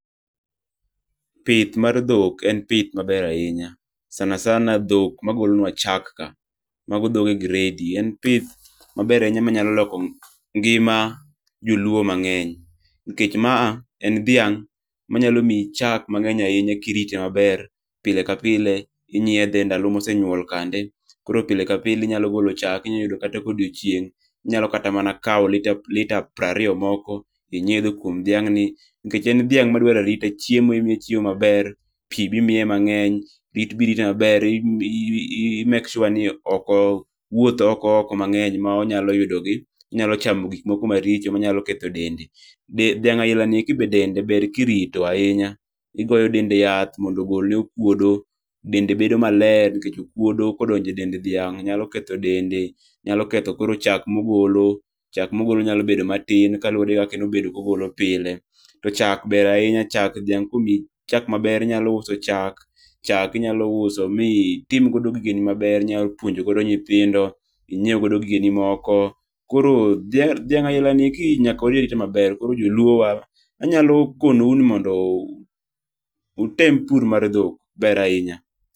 Pith mar dhok en pith maber ahinya, sana sana dhok magolonwa chak ka. Mago dhoge gredi. En pith maber ahinya manyalo loko ngima joluo mang'eny ,nikech ma a en dhiang' manyalo miyi chak mang'eny ahinya kirite maber ,pilepile inyiedhe ndalo mosenyuol kande. Koro pile ka pile inyalo golo chak, inya yudo kata ka odiochieng' inyalo kata mana kawo litre prariyo moko, inyiedho kuom dhiang'ni. Nikech en dhiang' madwaro arita, chiemo imiye chiemo maber. Pi be imiye mang'eny. Rit be irite maber. i make sure ni ok owuoth oko oko mang'eny monyalo yudo gi onyalo chamo gik moko maricho manyalo ketho dende. Dhiang' ailani eki be dende ber kirito ahinya . Igoyo dende yath mondo ogolne okuodo. Dende bedo maler nikech okuodo kodonjo e dend dhiang' nyalo ketho dende. Nyalo ketho koro chak mogolo. Chak mogolo nyalo bedo matin kaluwore gi kaka ogolo pile. To chak ber ahinya, chak dhiang' komi chak maber, inyalo uso chak. Chak inyalo uso mitim godo gigeni maber. Inyalo puonjo godo nyithindo. Inyiew godo gigeni moko. Koro dhaing' ailani nyaka koro irite maber. Koro joluowa, anyalo konowu ni mondo utem pur mar dhok. Ber ahinya.